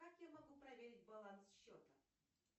как я могу проверить баланс счета